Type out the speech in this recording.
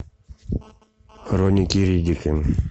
хроники риддика